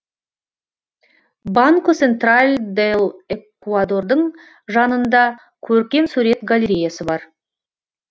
банко сентраль дел экуадордың жанында көркемсурет галереясы бар